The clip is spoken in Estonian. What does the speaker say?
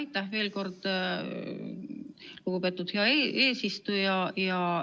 Aitäh veel kord, lugupeetud hea eesistuja!